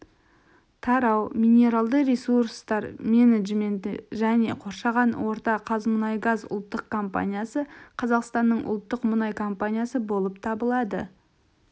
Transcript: тарау минералды ресурстар менеджменті және қоршаған орта қазмұнайгаз ұлттық компаниясы қазақстанның ұлттық мұнай компаниясы болып табылады